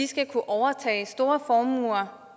skal kunne overtage store formuer